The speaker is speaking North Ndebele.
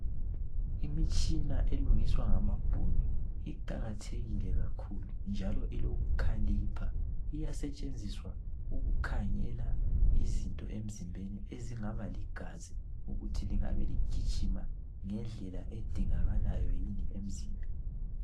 Imitshina elungiswa ngamabhunu iqakathekile kakhulu njalo ilokukhalipha. Iyasetshenziswa ukukhangela izinto emzimbeni ezingaba ligazi ukuthi lingabe ligijima ngendlela edingakalayo yini emzimbeni.